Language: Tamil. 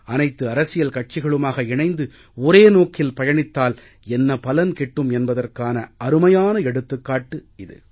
அனைத்து அரசியல் கட்சிகளுமாக இணைந்து ஒரே நோக்கில் பயணித்தால் என்ன பலன் கிட்டும் என்பதற்கான அருமையான எடுத்துக்காட்டு இது